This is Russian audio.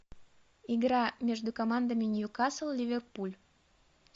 игра между командами ньюкасл ливерпуль